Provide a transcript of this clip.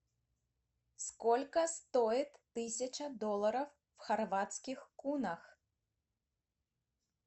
сколько стоит тысяча долларов в хорватских кунах